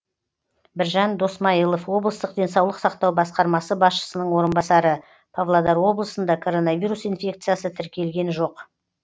біржан досмайылов облыстық денсаулық сақтау басқармасы басшысының орынбасары павлодар облысында коронавирус инфекциясы тіркелген жоқ